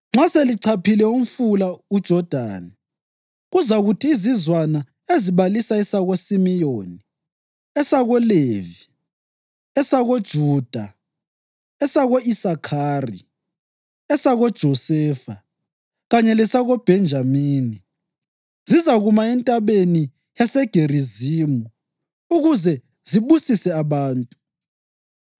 “Nxa selichaphile umfula uJodani, kuzakuthi izizwana ezibalisa esakoSimiyoni, esakoLevi, esakoJuda, esako-Isakhari, esakoJosefa kanye lesakoBhenjamini zizakuma eNtabeni yaseGerizimu ukuze zibusise abantu.